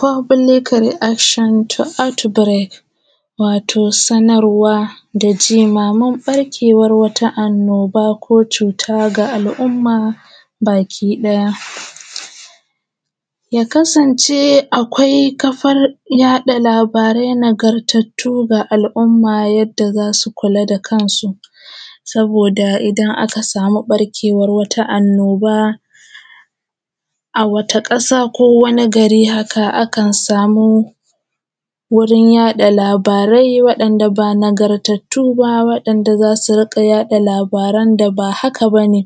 Fubilikal ri’akshon to anti dired wato sanarwa da jimamin barkewan wata annoba ko cuta ga alumma baki ɗaya, ya kasance akwai kafanyaɗa labarai nagartattu ga al’umma yadda za su kula da kansu, saboda idan aka samu ɓarkewan wata annoba wata ƙasa ko wani gari haka akan samu wurin yaɗa labarai waɗanda ba na gartattu ba waɗanda an so su dinga yaɗa labaran da ba haka ba ne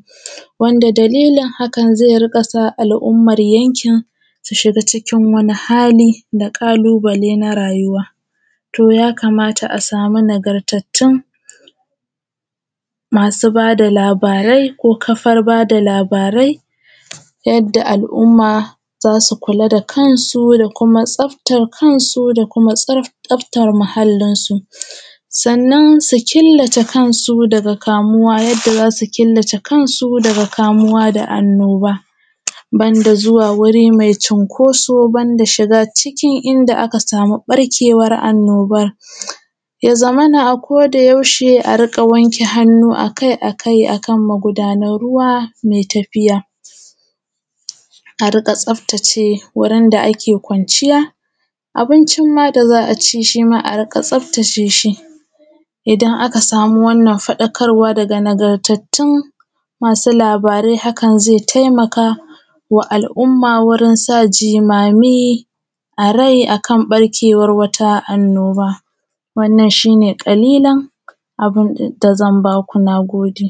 wanda dallilin hakan ze riƙa sa al’umman yankin su shiga cikin wani hali da ƙalubale na rayuwa. To, ya kamata a samu nagartattun masu ba da labarai ko kafar ba da labarai yadda al’umma za su kula da kansu da kuma tsaftar kansu da kuma tsaftar muhallin su, sannan su killace kansu daga kamuwa. Yadda za su killace kansu daga kamuwa da anaooba ban da zuwa wuri me cunkoso ban da shiga cikin inda aka samu ɓarkewan annoban, ya zamana akodayaushe a riƙa wanke hannu akai-akai a kan magudanar ruwa me tafiya, a riƙa tsaftace wurin da ake kwanciya abuncin ma da za a ci shi ma a riƙa tsaftace shi, idan aka samu wannan faɗakarwa daga nagartattun masu labarai hakan ze taimaka wa al’umma wajen sa jimami a rai akan ɓarkewan wata annoba wannan shi ne ƙalilan a kan da zan ba ku. Na gode.